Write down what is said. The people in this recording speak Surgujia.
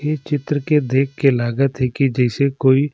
ए चित्र की देख के लागत हे की जैसे कोई--